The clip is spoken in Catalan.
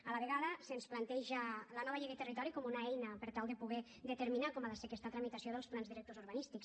a la vegada se’ns planteja la nova llei de territori com una eina per tal de poder determinar com ha de ser aquesta tramitació dels plans directors urbanístics